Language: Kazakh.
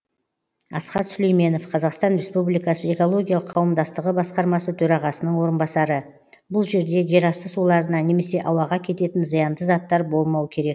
асхат сүлейменов қазақстан республикасы экологиялық қауымдастығы басқармасы төрағасының орынбасары бұл жерде жерасты суларына немесе ауаға кететін зиянды заттар болмау керек